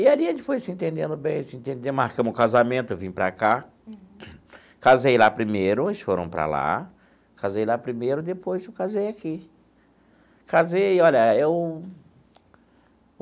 E ali a gente foi se entendendo bem se entendendo, marcamos o casamento, eu vim para cá, casei lá primeiro, eles foram para lá, casei lá primeiro, depois eu casei aqui casei olha eu.